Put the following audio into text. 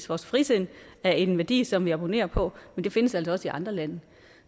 vores frisind er en værdi som vi abonnerer på men det findes altså også i andre lande